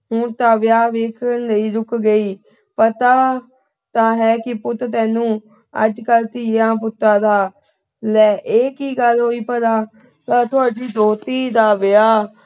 ਹੁਣ ਤਾਂ ਵਿਆਹ ਵੇਖਣ ਲਈ ਰੁੱਕ ਗਈ, ਪਤਾ ਤਾਂ ਹੈ ਪੁੱਤ ਤੈਨੂੰ, ਅੱਜ ਕੱਲ੍ਹ ਧੀਆਂ-ਪੁੱਤਾਂ ਦਾ। ਲੈ ਇਹ ਕੀ ਗੱਲ ਹੋਈ ਭਲਾ। ਤੁਹਾਡੀ ਦੋਹਤੀ ਦਾ ਵਿਆਹ